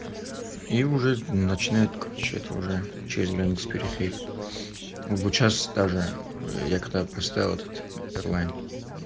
и уже начинает короче это уже через границу переходить вот сейчас тоже я когда проставил этот эрлайн